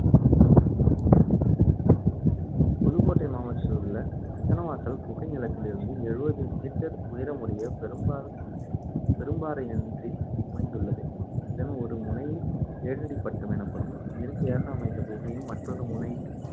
புதுக்கோட்டை மாவட்டத்திலுள்ள சித்தன்னவாசல் குகை நிலத்திலிருந்து எழுவது meter உயரமுடைய பெரும்பா~ பெரும்பாறையொன்றில் அமைந்துள்ளது. இதன் ஒரு முனை ஏழடிப்பட்டம் எனப்படும் இயற்கையாக அமைந்த குகையும், மற்றொரு முனை